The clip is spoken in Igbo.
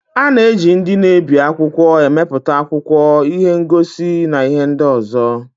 A na-eji ndị na-ebi akwụkwọ emepụta akwụkwọ, ihe ngosi, na ihe ndị ọzọ.